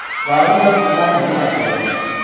Waruga ngima nene atĩa.